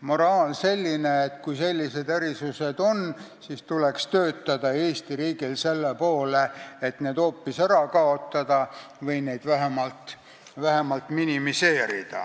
moraal selline, et kui sellised erisused on, siis tuleks Eesti riigil töötada selle nimel, et need hoopis ära kaotada või neid vähemalt minimeerida.